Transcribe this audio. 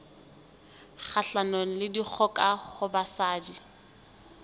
kgahlanong le dikgoka ho basadi